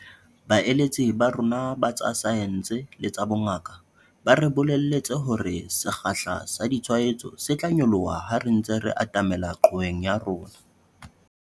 Baeletsi ba rona ba tsa saense le tsa bongaka ba re bolelletse hore sekgahla sa ditshwaetso se tla nyoloha ha re ntse re atamela qhoweng ya rona.